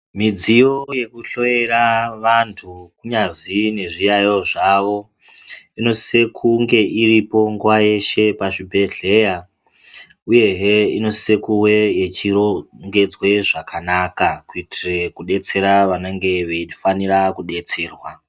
Midziyo yekuhloera antu kunyazi nezviyaiyo zvavo inosise kunge iripo nguva yeshe pazvibhedhleya, uyehe inosise kuwe yechirongedzwe zvakanaka. Kuitire kubetsera vanenge veifanira kubatserwa.